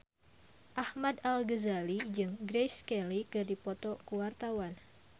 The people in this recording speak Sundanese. Ahmad Al-Ghazali jeung Grace Kelly keur dipoto ku wartawan